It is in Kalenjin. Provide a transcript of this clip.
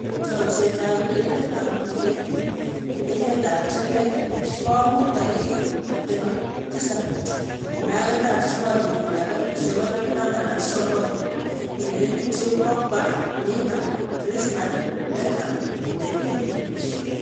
Chomset ab urerenet ab mbiret eng emet ab chumbek komuut tarikit 27.09.2019: Pogba, Neymar, Griezmann, Beckham, Dembele